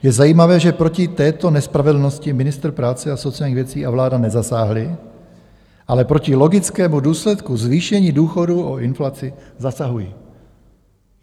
Je zajímavé, že proti této nespravedlnosti ministr práce a sociálních věcí a vláda nezasáhli, ale proti logickému důsledku zvýšení důchodů o inflaci zasahují.